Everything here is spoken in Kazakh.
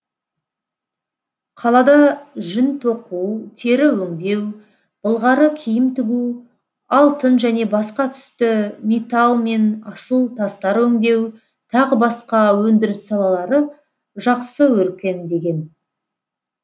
қалада жүн тоқу тері өңдеу былғары киім тігу алтын және басқа түсті металл мен асыл тастар өңдеу тағы басқа өндіріс салалары жақсы өркендеген